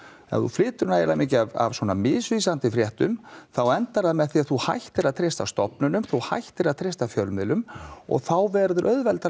ef þú flytur nægilega mikið af svona misvísandi fréttum þá endar það með því að þú hættir að treysta stofnunum þú hættir að treysta fjölmiðlum og þá verður auðveldara